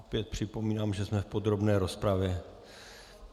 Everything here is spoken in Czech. Opět připomínám, že jsme v podrobné rozpravě.